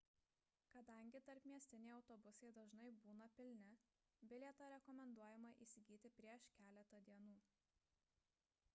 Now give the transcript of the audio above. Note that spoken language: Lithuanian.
kadangi tarpmiestiniai autobusai dažnai būna pilni bilietą rekomenduojama įsigyti prieš keletą dienų